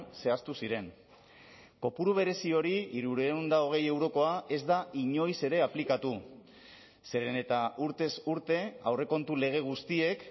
zehaztu ziren kopuru berezi hori hirurehun eta hogei eurokoa ez da inoiz ere aplikatu zeren eta urtez urte aurrekontu lege guztiek